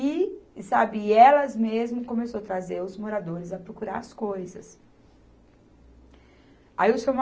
E, e sabe, e elas mesmo começaram a trazer os moradores a procurar as coisas. Aí o Seu